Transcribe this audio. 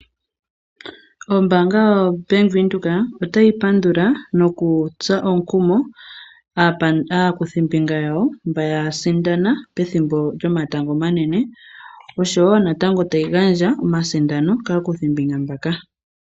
Ombanga yaVenduka oatyi pandula nokutsa omukumo aakuthimbinga yawo mbaya sindana pethimbo lyomatango omanene osho woo natango tayi gandja omasindano kaakuthimbinga mbaka.